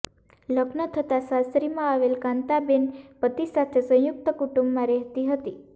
લગ્ન થતાં સાસરીમાં આવેલ કાંતાબેન પતિ સાથે સંયુક્ત કુટુંબમાં રહેતી હતી